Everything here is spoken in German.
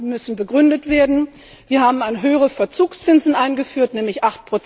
die müssen begründet werden. Wir haben höhere Verzugszinsen eingeführt, nämlich